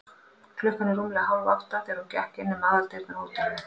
Klukkan var rúmlega hálfátta, þegar hann gekk inn um aðaldyrnar á hótelinu.